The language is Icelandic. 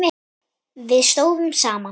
Við stóðum saman.